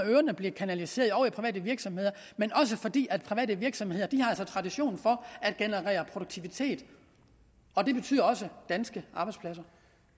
øre bliver kanaliseret over i private virksomheder men også fordi private virksomheder har tradition for at generere produktivitet og det betyder også danske arbejdspladser